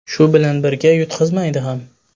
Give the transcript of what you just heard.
Shu bilan birga, yutqazmaydi ham.